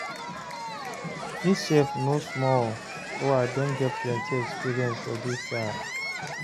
me sef no small o, I don get plenty experiences for dis life